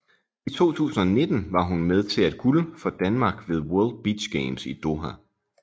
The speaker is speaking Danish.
I 2019 var hun med til at guld for Danmark ved World Beach Games i Doha